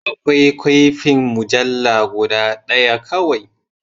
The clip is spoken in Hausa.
Akwai kwafin mujalla guda ɗaya kawai.